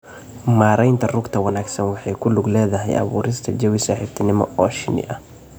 Maareynta rugta wanaagsan waxay ku lug leedahay abuurista jawi saaxiibtinimo oo shinni ah.